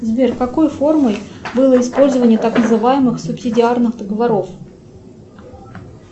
сбер какой формой было использование так называемых субсидиарных договоров